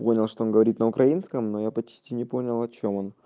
понял что он говорит на украинском но я почти не понял о чем